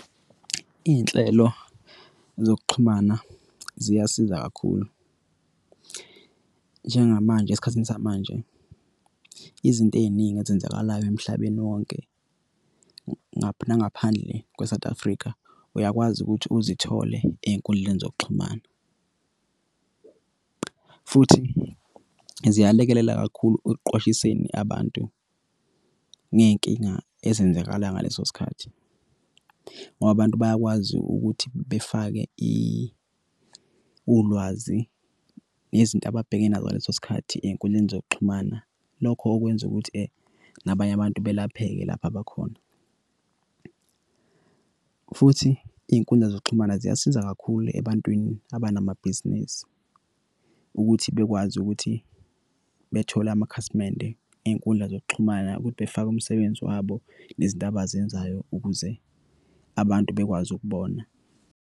Iy'nhlelo zokuxhumana ziyasiza kakhulu njengamanje esikhathini samanje izinto ey'ningi ezenzakalayo emhlabeni wonke nangaphandle kwe-South Africa uyakwazi ukuthi uzithole ey'nkundleni zokuxhumana futhi ziyalekelela kakhulu ekuqwashiseni abantu ngey'nkinga ezenzakalayo ngaleso sikhathi, ngoba abantu bayakwazi ukuthi befake ulwazi yezinto ababhekene nazo ngaleso sikhathi ey'nkundleni zokuxhumana. Lokho okwenza ukuthi nabanye abantu belapheke lapho abakhona futhi iy'nkundla zokuxhumana ziyasiza kakhulu ebantwini abanamabhizinisi ukuthi bekwazi ukuthi bethole amakhasimende iy'nkundla zokuxhumana ukuthi befake umsebenzi wabo nezindaba azenzayo ukuze abantu bekwazi ukubona.